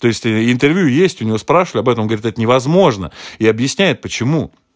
то есть интервью есть у неё спрашивали об этом говорит это невозможно и объясняет почему